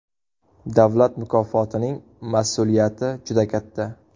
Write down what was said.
Davlat mukofotining mas’uliyati juda katta.